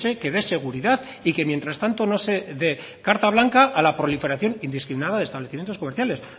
que dé seguridad y que mientras tanto no se dé carta blanca a la proliferación indiscriminada de establecimientos comerciales